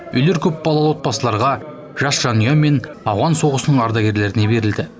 үйлер көпбалалы отбасыларға жас жанұя мен ауған соғысының ардагеріне берілді